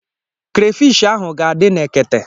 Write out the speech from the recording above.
Krafish ahụ ga-adị na ekete.